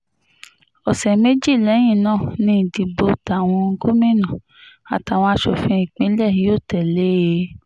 ọ̀sẹ̀ méjì lẹ́yìn náà ni ìdìbò táwọn gómìnà àtàwọn aṣòfin ìpínlẹ̀ yóò tẹ̀ lé e